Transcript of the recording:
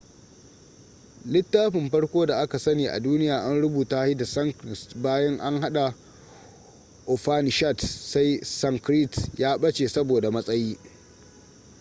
littafin farko da aka sani a duniya an rubuta shi da sanskrit bayan an haɗa upanishads sai sanskrit ya ɓace saboda matsayi